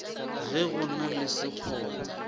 ge go na le sekgoba